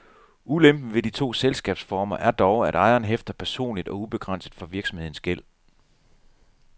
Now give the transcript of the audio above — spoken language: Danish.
Ulempen ved de to selskabsformer er dog, at ejeren hæfter personligt og ubegrænset for virksomhedens gæld.